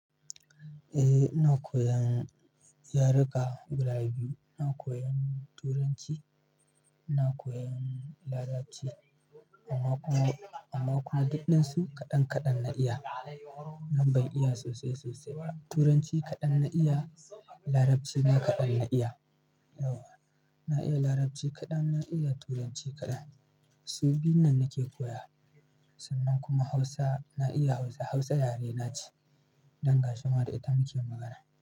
Eh, ina koyan yaruka guda biyu. Na koyan Turanci, na koyan Larabci amma kuma, amma kuma duk ɗansu kaɗan kaɗan na iya. Nan ban iya sosai sosai ba. Turanci kaɗan na iya, Larabci ma kaɗan na iya. Yauwa, na iya Larabci kaɗan, na iya Turanci kaɗan. Su biyun nan nake koya. Sannan kuma Hausa, na iya Hausa. Hausa yare na ce. Dan gashin ma da ita muke magana.